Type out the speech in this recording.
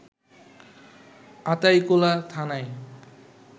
আতাইকুলা থানায়